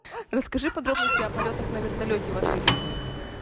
расскажи подробности о полетах на вертолете в отеле